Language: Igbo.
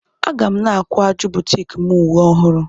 Aga n akwaju butiiki m uwe ọhụrụ.